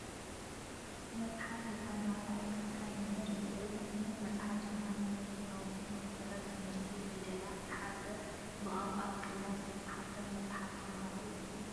መፅሓፍ ንተምሃራይ ካል መመህር እዩ፡፡ እዚ ዓይነት መፅሓፍ ድማ ንናይ ህፃናት መሰረት ትምህርቲ ፊደላት ዝሓዘ ብቋንቋ ትግርኛ ዝተፃሓፈ መፅሓፍ ተምሃሮ እዩ፡፡